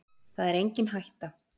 Það er engin hætta